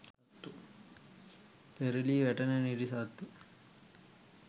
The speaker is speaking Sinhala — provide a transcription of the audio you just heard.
පෙරළී වැටෙන නිරිසත්තු